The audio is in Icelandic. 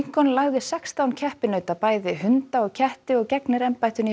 lincoln lagði sextán keppinauta bæði hunda og ketti og gegnir embættinu í